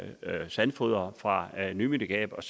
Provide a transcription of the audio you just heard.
sandfodre fra nymindegab og